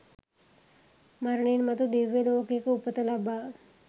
මරණින් මතු දිව්‍ය ලෝකයක උපත ලබා